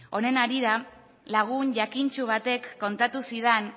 honen harira lagun jakintsu batek kontatu zidan